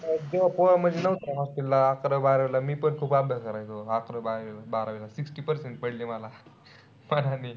तेव्हा पोरं म्हणजे नव्हते ना hostel ला अकरावी-बारावीला. मीपण खूप अभ्यास करायचो. अकरावी-बारावीला sixty percent पडले मला.